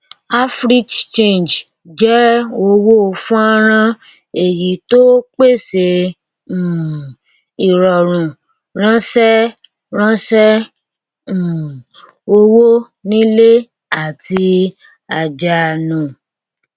africhange jẹ owó fọnrán èyí tó pèsè um ìrọrùn ránṣẹ ránṣẹ um owó nílé àti àjáánu